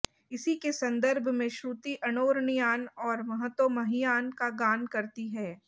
इसी के संदर्भ में श्रुति अणोरणीयान और महतोमहीयान का गान करती है